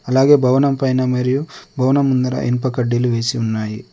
అలాగే భవనం పైన మరియు భవనం ముందర ఇనుప కడ్డీలు వేసి ఉన్నాయి.